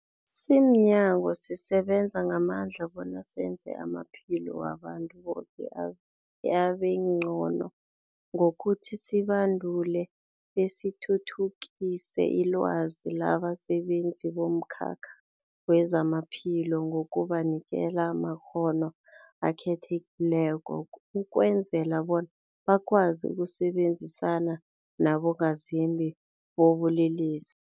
Simnyango, sisebenza ngamandla bona senze amaphilo wabantu boke abengcono ngokuthi sibandule besithuthukise ilwazi labasebenzi bomkhakha wezamaphilo ngokubanikela amakghono akhethekileko ukwenzela bona bakwazi ukusebenzisana nabongazimbi bobulelesi.